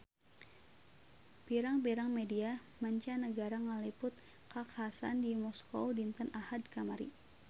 Pirang-pirang media mancanagara ngaliput kakhasan di Moskow dinten Ahad kamari